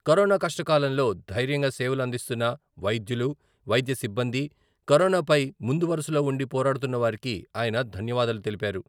Corona కష్టకాలంలో ధైర్యంగా సేవలు అందిస్తున్న వైద్యులు, వైద్య సిబ్బంది, కరోనాపై ముందువరుసలో ఉండి పోరాడుతున్న వారికి ఆయన ధన్యవాదాలు తెలిపారు.